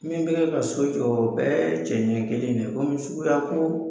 Min kɛlen bɛ ka so jɔ, o bɛɛ cɛncɛn kelen in de ye. komi suguya ko